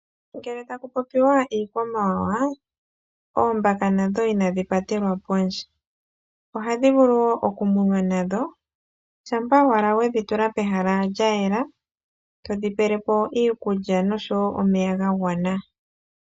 Ngele taku popiwa iikwamawawa oombaka nadho inadhi patelwa kondje. Ohadhi vulu okumunwa shampa owala wedhi tula pehala lyayela, ngweye todhi pelepo iikulya oshowoo omeya gwagwana.